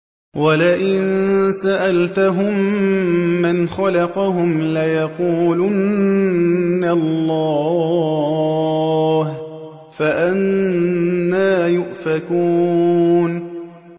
وَلَئِن سَأَلْتَهُم مَّنْ خَلَقَهُمْ لَيَقُولُنَّ اللَّهُ ۖ فَأَنَّىٰ يُؤْفَكُونَ